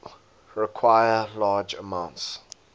require large amounts